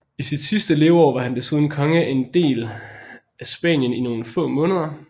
I sit sidste leveår var han desuden konge af en del af Spanien i nogle få måneder